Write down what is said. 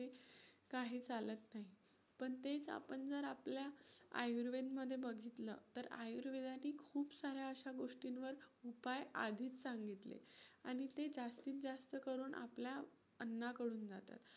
काही चालत नाही. पण तेच आपण जर आपल्या आयुर्वेद मध्ये बघितलं तर आयुर्वेदानी खूप साऱ्या अशा गोष्टींवर उपाय आधीच सांगितलेत आणि ते जास्तीत जास्त करून आपल्या अन्नाकडून जातात.